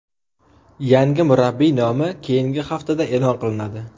Yangi murabbiy nomi keyingi haftada e’lon qilinadi.